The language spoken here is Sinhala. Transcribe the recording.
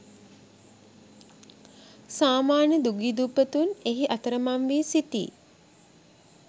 සාමාන්‍ය දුගී දුප්පතුන් එහි අතරමං වී සිටී.